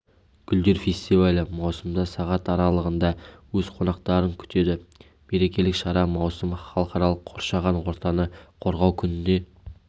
гүлдер фестивалі маусымда сағат аралығында өз қонақтарын күтеді мерекелік шара маусым халықаралық қоршаған ортаны қорғау күніне